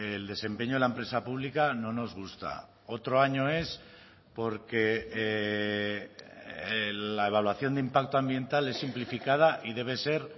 el desempeño de la empresa pública no nos gusta otro año es porque la evaluación de impacto ambiental es simplificada y debe ser